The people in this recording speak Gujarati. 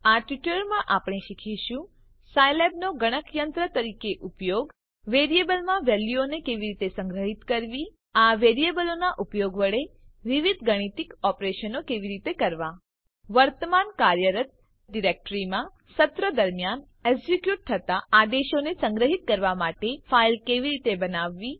આ ટ્યુટોરીયલમાં આપણે શીખીશું સાયલેબનો ગણકયંત્ર તરીકે ઉપયોગ વેરીએબલમાં વેલ્યુઓને કેવી રીતે સંગ્રહિત કરવી આ વેરીએબલોનાં ઉપયોગ વડે વિવિધ ગાણિતિક ઓપરેશનો કેવી રીતે કરવા વર્તમાન કાર્યરત ડાયરેક્ટ્રીમાં સત્ર દરમ્યાન એક્ઝીક્યુટ થતા આદેશોને સંગ્રહિત કરવા માટે ફાઈલ કેવી રીતે બનાવવી